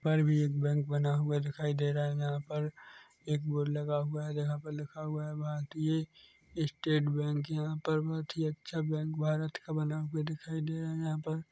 ऊपर भी एक बैंक बना हुआ दिखाई दे रहा है यहाँ पर एक बोर्ड लगा हुआ है जहाँ पर लिखा हुआ है भारतीय स्टेट बैंक यहाँ पर बहुत ही अच्छा बैंक भारत का बना हुआ दिखाई दे रहा है यहाँ पर--